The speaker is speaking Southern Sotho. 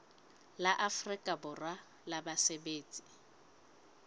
la afrika borwa la basebetsi